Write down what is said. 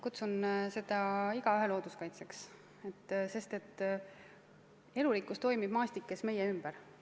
Kutsun seda igaühe looduskaitseks, sest elurikkus toimib maastikes meie ümber.